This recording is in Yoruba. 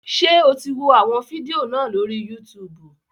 Ṣé o ti wọ àwọn fídíò náà lórí Yútùùbù?